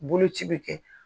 Boloci bɛ kɛ